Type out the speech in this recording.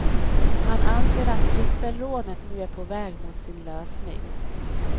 Han anser att trippelrånet nu är på väg mot sin lösning.